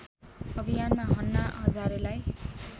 अभियानमा अन्ना हजारेलाई